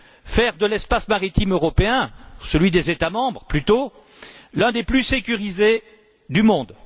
Faire de l'espace maritime européen celui des États membres plutôt l'un d'un plus sécurisés du monde.